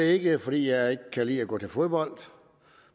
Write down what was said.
ikke fordi jeg ikke kan lide at gå til fodbold